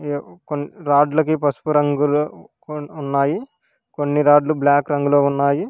ఈడ కొన్ని రాడ్లకే పసుపు రంగులో వున్ ఉన్నాయి కొన్ని రాడ్ బ్లాక్ రంగంలో ఉన్నాయి.